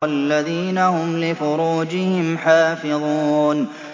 وَالَّذِينَ هُمْ لِفُرُوجِهِمْ حَافِظُونَ